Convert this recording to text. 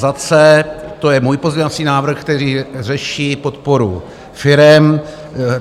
Za C to je můj pozměňovací návrh, který řeší podporu firem.